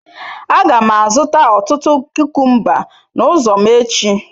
Aga m azụta ọtụtụ kukumba n'ụzọ m echi.